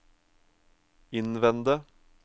innvende